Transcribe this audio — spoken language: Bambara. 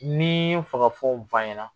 N'i yu'i fagafɛnw fɔ an ɲɛna